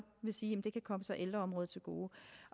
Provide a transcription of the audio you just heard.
vil sige at det kan komme ældreområdet til gode